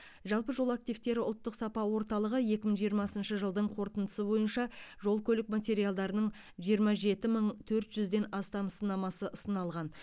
жалпы жол активтері ұлттық сапа орталығы екі мың жиырмасыншы жылдың қорытындысы бойынша жол көлік материалдарының жиырма жеті мың төрт жүзден астам сынамасы сыналған